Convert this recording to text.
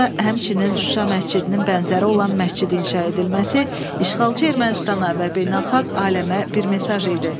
Burada həmçinin Şuşa məscidinin bənzəri olan məscid inşa edilməsi işğalçı Ermənistana və beynəlxalq aləmə bir mesaj idi.